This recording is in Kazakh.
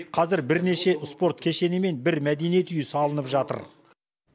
қазір бірнеше спорт кешені мен бір мәдениет үйі салынып жатыр